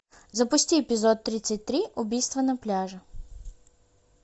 запусти эпизод тридцать три убийство на пляже